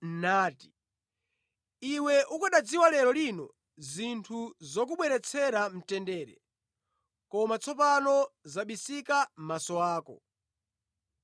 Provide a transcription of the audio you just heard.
nati, “Iwe ukanadziwa lero lino zinthu zokubweretsera mtendere, koma tsopano zabisikira maso ako.